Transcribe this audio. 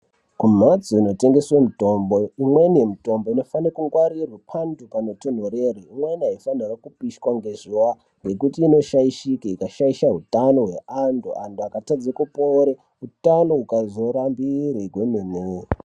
Kumbatso inotengeswa mitombo imweni yemitombo inofana kungwarira panhu panotonderera kwete kupishwa nezuva ngekuti inoshaishika ikashaisha hutano hwevantu antu akatadza kupora hutano ukazorambirwa kwemene.